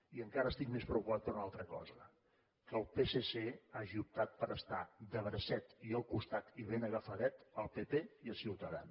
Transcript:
i encara estic més preocupat per una altra cosa que el psc hagi optat per estar de bracet i al costat i ben agafadet del pp i de ciutadans